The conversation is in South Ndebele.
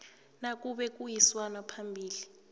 nakube kuyisanwa phambili